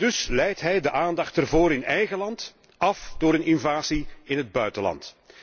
En dus leidt hij de aandacht daarvoor in eigen land af door een invasie in het buitenland.